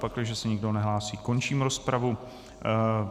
Pakliže se nikdo nehlásí, končím rozpravu.